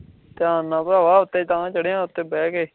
ਧਿਆਨ ਨਾਲ ਚੜ੍ਹ ਉੱਤੇ ਬੈ ਕੇ